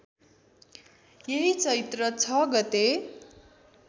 यही चैत्र ६ गते